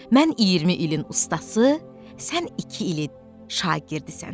Mən 20 ilin ustası, sən iki ili şagirdisən.